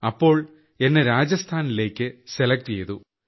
അപ്പോൾ എന്നെ രാജസ്ഥാനിലേയ്ക്ക് സെലക്ട് ചെയ്തു